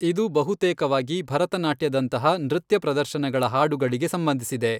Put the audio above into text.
ಇದು ಬಹುತೇಕವಾಗಿ ಭರತನಾಟ್ಯದಂತಹ, ನೃತ್ಯ ಪ್ರದರ್ಶನಗಳ ಹಾಡುಗಳಿಗೆ ಸಂಬಂಧಿಸಿದೆ.